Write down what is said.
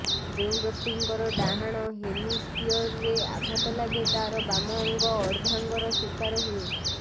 ଯେଉଁ ବ୍ୟକ୍ତିଙ୍କର ଡ଼ାହାଣ ହେମିସ୍ପିୟରରେ ଆଘାତ ଲାଗେ ତାର ବାମ ଅଙ୍ଗ ଅର୍ଦ୍ଧାଙ୍ଗର ଶିକାର ହୁଏ